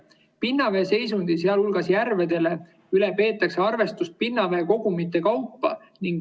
Pinnavee seisundi, sealhulgas järvede üle peetakse arvestust pinnaveekogumite kaupa.